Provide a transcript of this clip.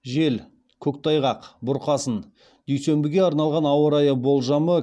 жел көктайғақ бұрқасын дүйсенбіге арналған ауа райы болжамы